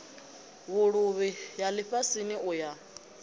vhuluvhi ya lifhasini u ya